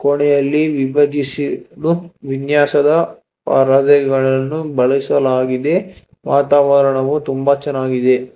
ಕೊನೇಯಲ್ಲಿ ವಿಭಜಿಸಿದೂ ವಿನ್ಯಾಸದ ಆರಾಧನೆಗಳನ್ನು ಬಳಸಲಾಗಿದೆ ವಾತಾವರಣವೂ ತುಂಬಾ ಚೆನ್ನಾಗಿದೆ.